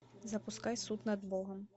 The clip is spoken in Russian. запускай суд над богом